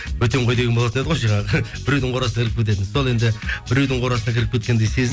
бөтен қой деген болатын еді ғой жаңағы біреудің қорасына кіріп кететін сол енді біреудің қорасына кіріп кеткендей